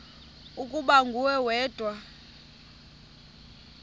ukuba nguwe wedwa